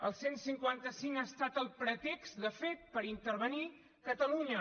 el cent i cinquanta cinc ha estat el pretext de fet per intervenir catalunya